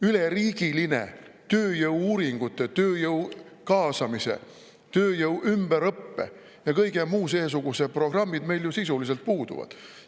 Üleriigilised tööjõu-uuringute, tööjõu kaasamise, tööjõu ümberõppe ja kõige muu seesuguse programmid meil ju sisuliselt puuduvad.